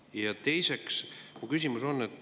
Ja mul on ka teine küsimus.